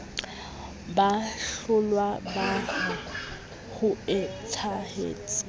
ba hlollwa ba re hoetsahetse